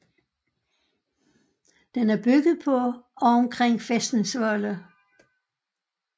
Den er bygget på og omkring fæstningsvolde